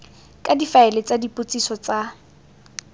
ka difaele tsa dipotsiso tsa